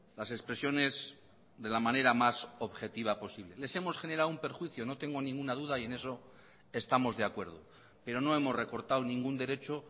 las expresiones de la manera más objetiva posible les hemos generado un perjuicio no tengo ninguna duda y en eso estamos de acuerdo pero no hemos recortado ningún derecho